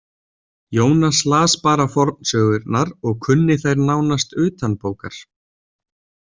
Jónas las bara fornsögurnar og kunni þær nánast utanbókar.